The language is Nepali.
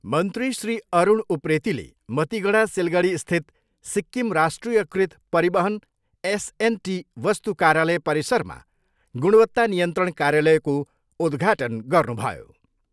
मन्त्री श्री अरुण उप्रेतीले मतिगडा सिलगढीस्थित सिक्किम राष्ट्रियकृत परिवहन एसएनटी वस्तु कार्यालय परिसरमा गुणवत्ता नियन्त्रण कार्यालयको उद्घाटन गर्नुभयो।